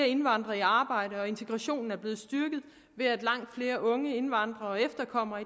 indvandrere i arbejde og integrationen er blevet styrket ved at langt flere unge indvandrere og efterkommere